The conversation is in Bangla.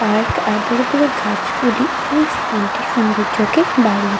পার্ক আর বড় বড় গাছগুলি এই স্থানটির সুন্দর্যকে বাড়িয়ে--